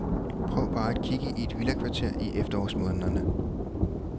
Prøv bare at kigge i et villakvarter i efterårsmånederne.